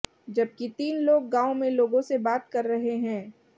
जबकि तीन लोग गाँव में लोगों से बात कर रहे हैं